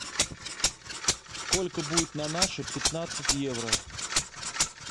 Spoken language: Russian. сколько будет на наши пятнадцать евро